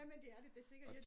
Jamen det er det da sikkert